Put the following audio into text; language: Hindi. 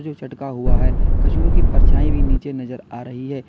कुछ अटका हुआ है कछुआ की परछाई भी नीचे नजर आ रही है।